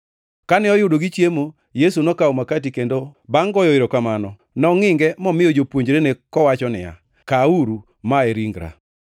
Kane oyudo gichiemo, Yesu nokawo makati, kendo bangʼ goyo erokamano, nongʼinge momiyo jopuonjrene kowacho niya, “Kawuru, ma e ringra.”